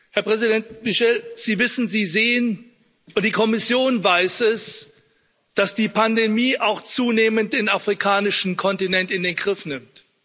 Herr Präsident Michel, Sie wissen, Sie sehen und die Kommission weiß es, dass die Pandemie auch zunehmend den afrikanischen Kontinent in den Griff nimmt.